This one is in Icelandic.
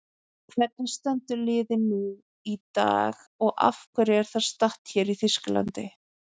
Hvernig stendur liðið nú í dag og af hverju er það statt hér í Þýskalandi?